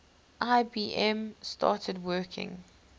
ibm started working